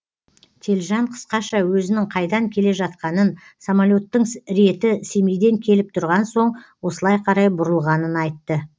телжан қысқаша өзінің қайдан келе жатқанын самолеттің реті семейден келіп тұрған соң осылай қарай бұрылғанын айтты